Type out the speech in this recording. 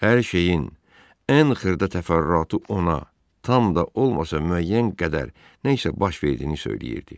Hər şeyin ən xırda təfərrüatı ona, tam da olmasa, müəyyən qədər nə isə baş verdiyini söyləyirdi.